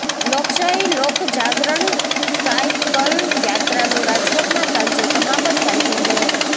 લોકશાહી લોકજાગરણ સાયકલયાત્રાનું રાજકોટમાં સાંજે સમાપન કાર્યક્રમ યોજાશે